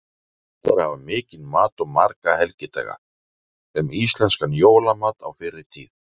Gott er að hafa mikinn mat og marga helgidaga: Um íslenskan jólamat á fyrri tíð.